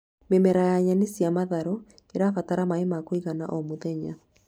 Mĩmera ya nyeni cia matharũ ĩbataraga maĩ ma kũigana o mũthenya